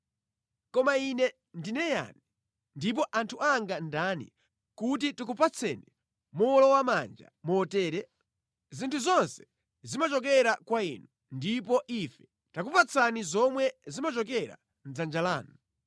“Koma ine ndine yani, ndipo anthu anga ndani, kuti tikupatsani mowolowamanja motere? Zinthu zonse zimachokera kwa Inu, ndipo ife takupatsani zomwe zimachokera mʼdzanja lanu.